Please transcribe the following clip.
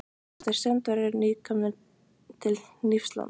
Þetta eru strandverðir, nýkomnir til Hnífsdals.